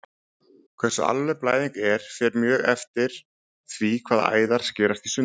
Hversu alvarleg blæðing er fer mjög eftir því hvaða æðar skerast í sundur.